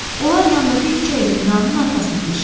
Onlar yandakı küçə ilə binanın arxasına keçdilər.